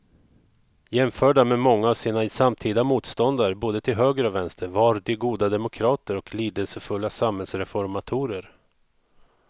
Jämförda med många av sina samtida motståndare både till höger och vänster var de goda demokrater och lidelsefulla samhällsreformatorer.